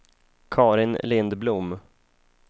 Karin Lindblom